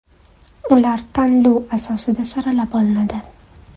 Ular tanlov asosida saralab olinadi.